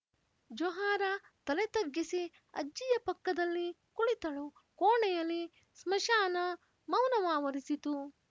ಜೊಹಾರಾ ತಲೆ ತಗ್ಗಿಸಿ ಅಜ್ಜಿಯ ಪಕ್ಕದಲ್ಲಿ ಕುಳಿತಳು ಕೋಣೆಯಲಿ ಸ್ಮಶಾನ ಮೌನವಾವರಿಸಿತು